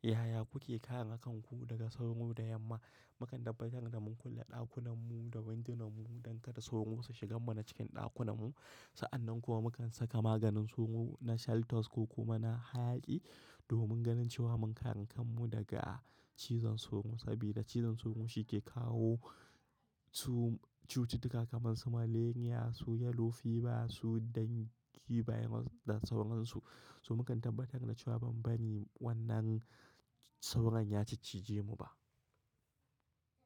Yaya kuke kare kare kan ku daga sauro da yamma? Mukan tabbatar da mun kulle ɗakunan mu da windunan mu don kada sauro su shiga mana cikin ɗakunan mu. Sa'annan kuwa mukan saka maganin sauro na Shelltose, ko kuma na hayaƙi domin ganin cewa mun kare kan mu daga cizon sauro. Sabida cizon sauro shi ke kawo, cu cututtuka kamar su malaria, su yellow fever, su dengue virus da sauran su. To mukan tabbatar da cewa ban bari wannan sauran ya ciccije mu ba.